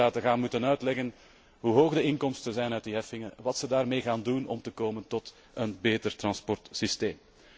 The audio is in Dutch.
Lidstaten moeten uitleggen hoe hoog de inkomsten zijn uit die heffingen, wat ze daarmee zullen doen om te komen tot een beter transportsysteem.